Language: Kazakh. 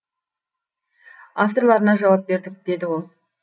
авторларына жауап бердік деді ол